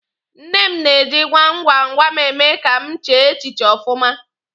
Nne m na-eji gwam gwam gwam eme ka m chee echiche ọfụma.